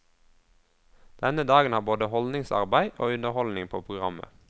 Denne dagen har både holdningsarbeid og underholdning på programmet.